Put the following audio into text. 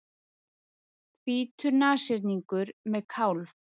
Hvítur nashyrningur með kálf.